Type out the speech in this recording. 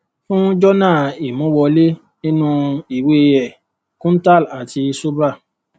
fún jọnà imú wọlé nínú ìwé e kuntal àti subhra